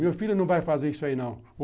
Meu filho não vai fazer isso aí, não.